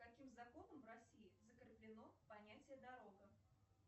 каким законом в россии закреплено понятие дорога